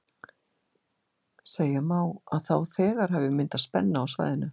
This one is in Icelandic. segja má að þá þegar hafi myndast spenna á svæðinu